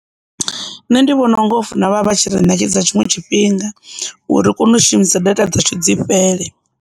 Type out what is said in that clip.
Nṋe ndi vhona u nga hofuna vha tshi ri ṋekedza tshiṅwe tshifhinga uri ri kone u shumisa data dza ṱhodzi fhele.